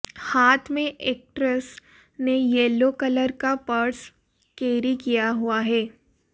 हाथ में एक्ट्रेस ने येलो कलर का पर्स कैरी किया हुआ है